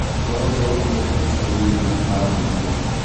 Ũhoro ũyũ wonekete icagi inĩ na mataũni inĩ